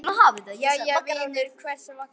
Jæja vinur, hvers vegna?